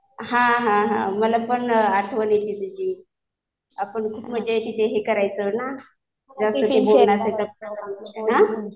हा हा हा. मला पण आठवण येते तुझी.आपण खूप मजा तिथे करायचो ना. जास्तचं बोलणं असायचं आपलं. हा?